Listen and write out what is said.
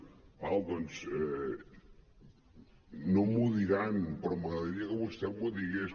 d’acord doncs no m’ho diran però m’agradaria que vostè m’ho digués